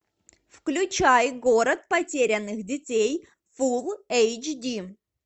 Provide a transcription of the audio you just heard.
включай город потерянных детей фул эйч ди